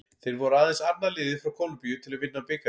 Þeir voru aðeins annað liðið frá Kólumbíu til að vinna bikarinn.